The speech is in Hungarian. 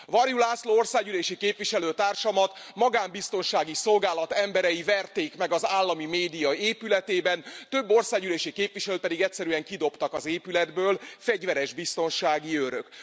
Varjú László országgyűlési képviselő társamat magán biztonsági szolgálat emberei verték meg az állami média épületében, több országgyűlési képviselőt pedig egyszerűen kidobtak az épületből fegyveres biztonsági őrök.